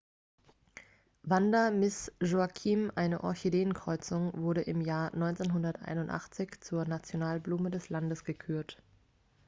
vanda miss joaquim eine orchideenkreuzung wurde im jahr 1981 zur nationalblume des landes gekürt